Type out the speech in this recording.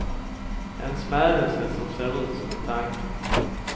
En smädelse som ser ut som en tanke.